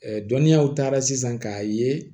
dɔnniyaw taara sisan k'a ye